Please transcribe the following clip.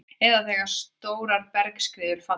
eða þegar stórar bergskriður falla.